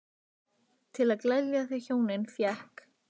Til að gleðja þau hjónin fékk